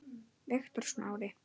Viktor Smári.